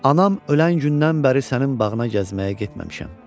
Anam ölən gündən bəri sənin bağına gəzməyə getməmişəm.